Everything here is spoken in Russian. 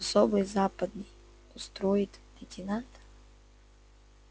особый западный устроит лейтенанта